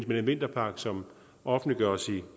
med den vinterpakke som offentliggøres i